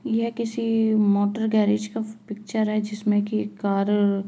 यह किसी motor garage का पिक्चर है जिसमें की एक कार --